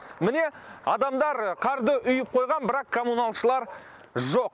міне адамдар қарды үйіп қойған бірақ коммуналшылар жоқ